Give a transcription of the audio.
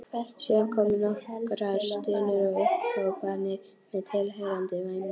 Síðan komu nokkrar stunur og upphrópanir með tilheyrandi væmni.